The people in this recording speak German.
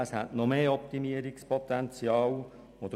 Es ist noch mehr Optimierungspotenzial vorhanden.